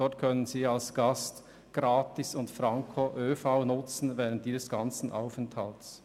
Dort können Sie als Gast während Ihres Aufenthalts gratis und franko die öffentlichen Verkehrsmittel benutzen.